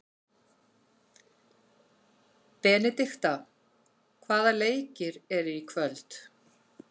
Benidikta, hvaða leikir eru í kvöld?